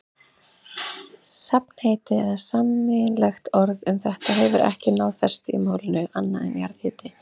Safnheiti eða sameiginlegt orð um þetta hefur ekki náð festu í málinu, annað en jarðhiti.